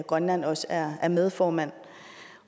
grønland også er er medformand